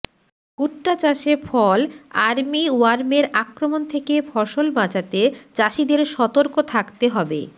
ভুট্টা চাষে fall army ওয়ার্মের আক্রমণ থেকে ফসল বাঁচাতে চাষিদের সতর্ক থাকতে হবে